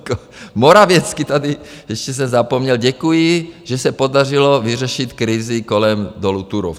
Morawiecki tady, ještě jsem zapomněl, děkuji, že se podařilo vyřešit krizi kolem dolu Turów.